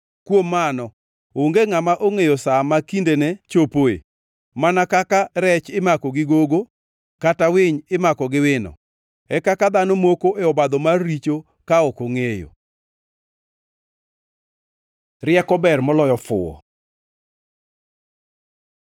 Kuom mano, onge ngʼama ongʼeyo sa ma kindene chopoe: Mana kaka rech imako gi gogo, kata winy imako gi wino, e kaka dhano moko e obadho mar richo ka ok ongʼeyo. Rieko ber moloyo fuwo